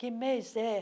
Que mês é?